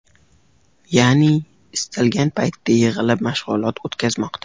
Ya’ni istalgan paytda yig‘ilib mashg‘ulot o‘tkazmoqda.